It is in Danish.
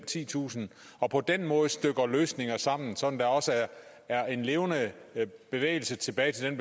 titusind og på den måde stykker løsninger sammen sådan at der også er en levende bevægelse tilbage